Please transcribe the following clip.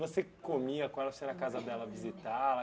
Você comia com ela, você ia na casa dela, visitava.